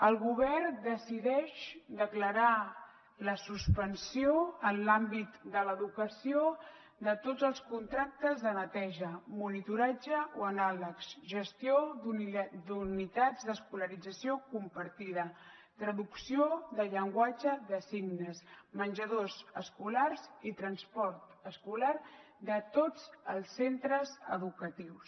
el govern decideix declarar la suspensió en l’àmbit de l’educació de tots els contractes de neteja monitoratge o anàlegs gestió d’unitats d’escolarització compartida traducció de llenguatge de signes menjadors escolars i transport escolar de tots els centres educatius